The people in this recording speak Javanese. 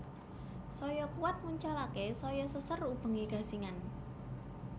Saya kuwat nguncalaké saya seser ubengé gangsingan